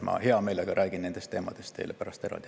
Ma hea meelega räägin nendest teemadest teile pärast eraldi.